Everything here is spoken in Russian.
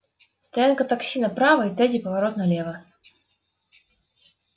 стоянка такси направо и третий поворот налево